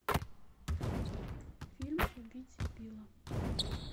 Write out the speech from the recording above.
фильм убить билла